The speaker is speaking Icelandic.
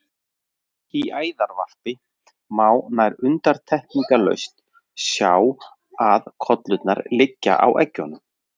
Í æðarvarpi má nær undantekningarlaust sjá að kollurnar liggja á eggjunum.